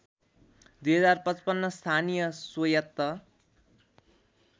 २०५५ स्थानीय स्वयत्त